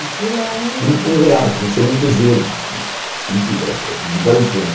Um pila é um... Um um real, seria um cruzeiro. Um pila gaúcho né